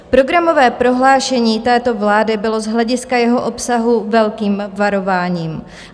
Programové prohlášení této vlády bylo z hlediska jeho obsahu velkým varováním.